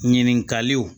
Ɲininkaliw